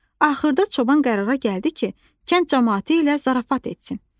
Axırda çoban qərara gəldi ki, kənd camaatı ilə zarafat etsin.